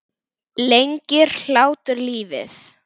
Lengir hlátur lífið?